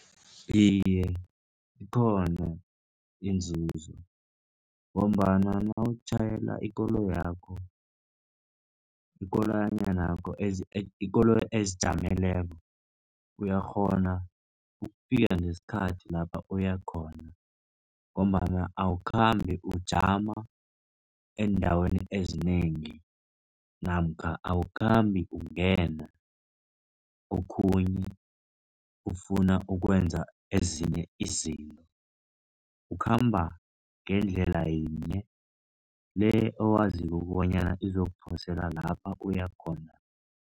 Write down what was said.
Iye, ikhona iinzuzo ngombana nawutjhayela ikoloyi yakho, ikololayanakho, ikoloyi ezijameleko uyakghona ukufika ngesikhathi lapha uyakhona, ngombana awukhambi ujama eendaweni ezinengi namkha awukhambi ungena okhunye ufuna ukwenza ezinye izinto. Ukhamba ngendlela yinye le owaziko ukobanyana izokuphosela lapha uyakhona.